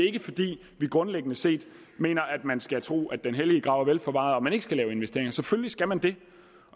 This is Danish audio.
ikke fordi vi grundlæggende set mener at man skal tro den hellige grav er vel forvaret og at man ikke skal lave investeringer selvfølgelig skal man det